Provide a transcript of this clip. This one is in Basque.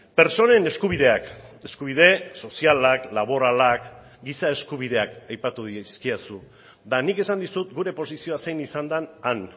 pertsonen eskubideak eskubide sozialak laboralak giza eskubideak aipatu dizkidazu eta nik esan dizut gure posizioa zein izan den han